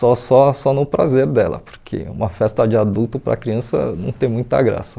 Só só só no prazer dela, porque uma festa de adulto para criança não tem muita graça.